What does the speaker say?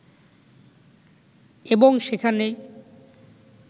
এবং সেখানেই